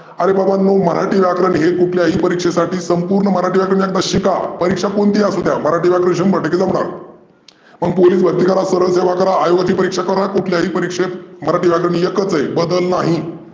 आरे बाबांनो मराठी व्याकरण हे कुठल्या ही परिक्षेसाठी संपुर्ण व्याकरण तशिका. परिक्षा कोणती ही असुद्या मराठी व्याकरण शंभर टक्के कलर. मग पोलिस भर्ती करा, मग सरळ सेवा करा, आयोगाची परिक्षा करा, कुठल्या ही परिक्षेत मराठी व्याकरण एकचं आहे बदल नाही.